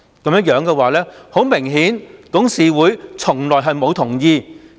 顯而易見，董事會從來沒有同意。